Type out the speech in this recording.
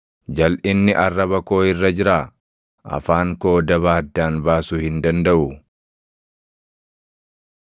Jalʼinni arraba koo irra jiraa? Afaan koo daba addaan baasuu hin dandaʼuu?